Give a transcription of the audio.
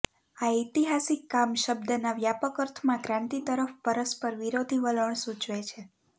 આ ઐતિહાસિક કામ શબ્દના વ્યાપક અર્થમાં ક્રાંતિ તરફ પરસ્પરવિરોધી વલણ સૂચવે છે